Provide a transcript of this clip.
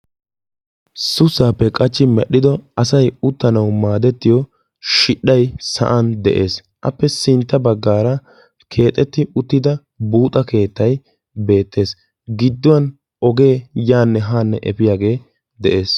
souussappe qachchi medhdhido asay uttanaw maaddetiyo shudhdhay sa/an de'ees, appe sintta baggaara keexxetti uttida buuxxa keettay beettes, gidduwan ogee yaanne haanne efiyaagee dees.